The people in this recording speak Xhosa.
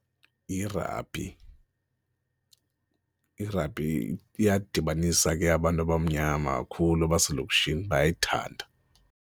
Yirabhi, irabhi iyadibanisa ke abantu abamnyama kakhulu abaselokishini bayayithanda.